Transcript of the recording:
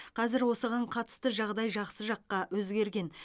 қазір осыған қатысты жағдай жақсы жаққа өзгерген